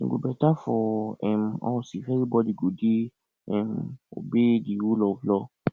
e go beta for um us if everybody go dey um obey the rule of law